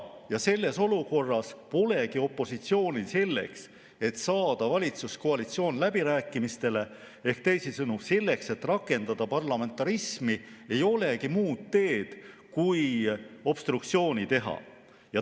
Selles olukorras polegi opositsioonil selleks, et saada valitsuskoalitsioon läbirääkimistele, ehk selleks, et rakendada parlamentarismi, muud teed kui obstruktsioon.